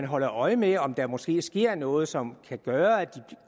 holder øje med om der måske sker noget som kan gøre at de